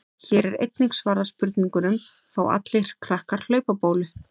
Hér er einnig svarað spurningunum: Fá allir krakkar hlaupabólu?